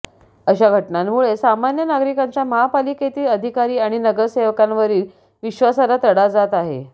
अशा घटनांमुळे सामान्य नागरिकांचा महापालिकेतील अधिकारी आणि नगरसेवकांवरील विश्वासाला तडा जात आहे